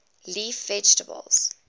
leaf vegetables